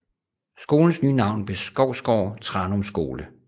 Skolens nye navn blev Skovsgård Tranum Skole